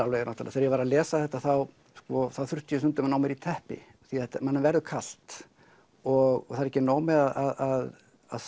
þegar ég var að lesa þetta þurfti ég stundum að ná mér í teppi því að manni verður kalt og það er ekki nóg með að